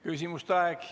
Küsimuste aeg.